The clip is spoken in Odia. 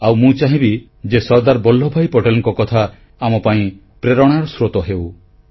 ଆଉ ମୁଁ ଚାହିଁବି ଯେ ସର୍ଦ୍ଦାର ବଲ୍ଲଭଭାଇ ପଟେଲଙ୍କ କଥା ଆମ ପାଇଁ ପ୍ରେରଣାର ସ୍ରୋତ ହେଉ